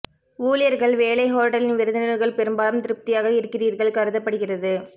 ஊழியர்கள் வேலை ஹோட்டலின் விருந்தினர்கள் பெரும்பாலும் திருப்தியாக இருக்கிறீர்கள் கருதப்படுகிறது